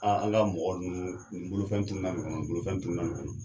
An ka mɔgɔ nunnu nin bolofɛn tununa ni kɔnɔ, nin bolofɛn tununa ni kɔnɔ.